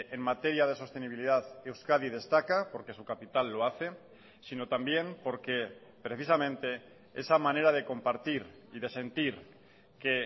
en materia de sostenibilidad euskadi destaca porque su capital lo hace sino también porque precisamente esa manera de compartir y de sentir que